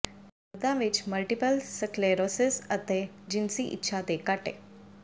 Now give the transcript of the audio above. ਮਰਦਾਂ ਵਿਚ multiple sclerosis ਅਤੇ ਜਿਨਸੀ ਇੱਛਾ ਦੇ ਘਾਟੇ